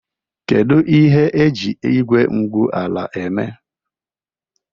Kedu ihe a na-eji igwe igwu ala eme?